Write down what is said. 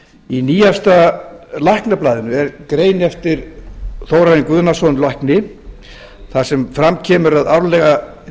í nýjasta læknablaðinu er grein eftir þórarin guðnason lækni þar sem fram kemur að árlega